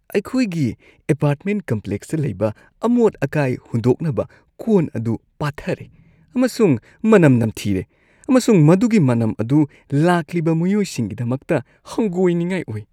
ꯑꯩꯈꯣꯏꯒꯤ ꯑꯦꯄꯥꯔꯠꯃꯦꯟꯠ ꯀꯝꯄ꯭ꯂꯦꯛꯁꯇ ꯂꯩꯕ ꯑꯃꯣꯠ-ꯑꯀꯥꯏ ꯍꯨꯟꯗꯣꯛꯅꯕ ꯀꯣꯟ ꯑꯗꯨ ꯄꯥꯊꯔꯦ ꯑꯃꯁꯨꯡ ꯃꯅꯝ ꯅꯝꯊꯤꯔꯦ ꯑꯃꯁꯨꯡ ꯃꯗꯨꯒꯤ ꯃꯅꯝ ꯑꯗꯨ ꯂꯥꯛꯂꯤꯕ ꯃꯤꯌꯣꯏꯁꯤꯡꯒꯤꯗꯃꯛꯇ ꯍꯪꯒꯣꯏꯅꯤꯡꯉꯥꯏ ꯑꯣꯏ꯫